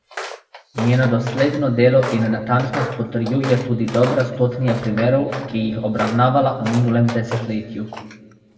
Njeno dosledno delo in natančnost potrjuje tudi dobra stotnija primerov, ki jih obravnavala v minulem desetletju.